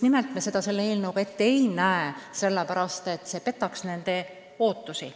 Me ei näe seda selle eelnõuga ette sellepärast, et see petaks inimeste ootusi.